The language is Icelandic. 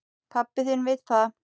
Pabbi þinn vill það.